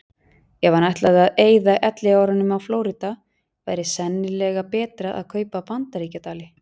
Ef hann ætlaði að eyða elliárunum á Flórída væri sennilega betra að kaupa Bandaríkjadali.